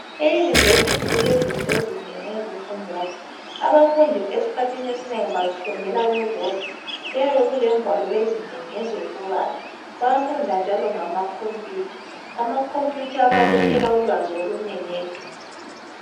E university kulento ezinengi ezifundwayo abafundi esikhathini esinengi bazifundela bebodwa kuyabe kulengwalo ezinengi ezokubala bayafunda njalo ngama computer amacomputer ayabalethela ulwazi olunengi eduze